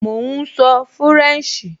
Mò ún sọ fúrẹ̀nṣì